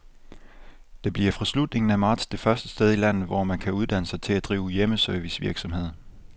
Det bliver fra slutningen af marts det første sted i landet, hvor man kan uddanne sig til at drive hjemmeservicevirksomhed.